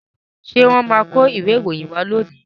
Ṣé wọ́n máa kó ìwé ìròyìn wá lónìí?